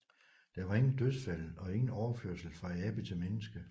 Der var ingen dødsfald og ingen overførsel fra abe til menneske